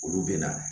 Olu bɛ na